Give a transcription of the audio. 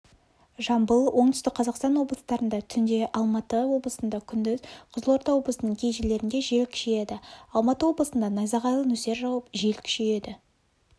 жамбыл оңтүстік қазақстан облыстарында түнде алматы облысында күндіз қызылорда облысының кей жерлерінде жел күшейеді алматы облысында найзағайлы нөсер жауып жел күшейеді